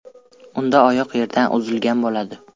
Unda oyoq yerdan uzilgan bo‘ladi.